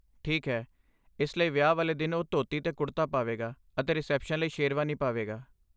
ਠੀਕ ਹੈ, ਇਸ ਲਈ ਵਿਆਹ ਵਾਲੇ ਦਿਨ ਉਹ ਧੋਤੀ ਅਤੇ ਕੁੜਤਾ ਪਾਵੇਗਾ ਅਤੇ ਰਿਸੈਪਸ਼ਨ ਲਈ ਸ਼ੇਰਵਾਨੀ ਪਾਵੇਗਾ।